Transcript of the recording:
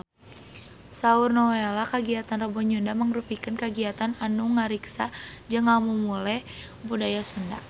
Saur Nowela kagiatan Rebo Nyunda mangrupikeun kagiatan anu ngariksa jeung ngamumule budaya Sunda